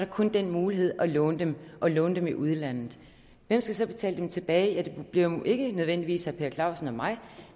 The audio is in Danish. kun den mulighed at låne dem og at låne dem i udlandet hvem skal så betale dem tilbage ja det bliver jo ikke nødvendigvis herre per clausen og mig